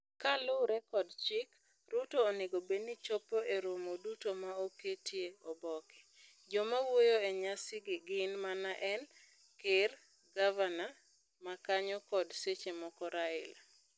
Kalure kod chik, Ruto onego bed ni chopo e romo duto ma oketie oboke. Joma wuoyo e nyasi gi gin mana en, ker, gavana makanyo kod seche moko Raila.